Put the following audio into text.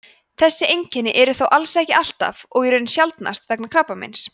þessi einkenni eru þó alls ekki alltaf og í raun sjaldnast vegna krabbameins